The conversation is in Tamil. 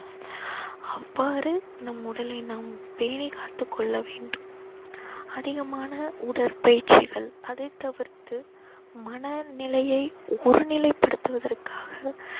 அவ்வாறு நம் உடலை நாம் பேணிக் காத்துக் கொள்ள வேண்டும் அதிகமான உடற்பயிற்சிகள் அதைத் தவிர்த்து மன நிலையை ஒரு நிலைப்படுத்துவதற்காக